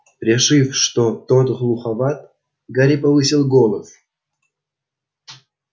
решив что тот глуховат гарри повысил голос